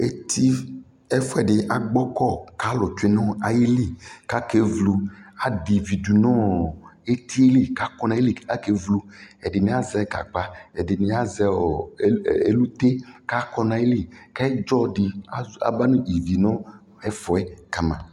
Eti, ɛfuɛdi agbɔ kʋ alʋ tsue nʋ ayʋ likʋ akavlo Adɛ ivi dʋ nʋ ɔɔ eti yɛ li kʋ akɔ nʋ ayʋ li kʋ akevlo Ɛdini azɛ gagba, ɛdini azɛ elute kʋ akɔ nʋ ayʋ li, kʋ ɛdzɔ di aba nʋ ivi nʋ ɛfuɛ kama